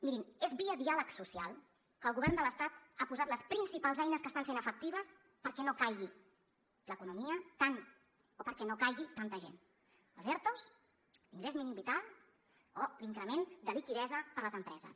mirin és via diàleg social que el govern de l’estat ha posat les principals eines que estan sent efectives perquè no caigui l’economia tant o perquè no caigui tanta gent els ertos l’ingrés mínim vital o l’increment de liquiditat per a les empreses